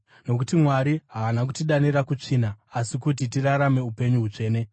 Nokuti Mwari haana kutidanira kutsvina, asi kuti tirarame upenyu hutsvene.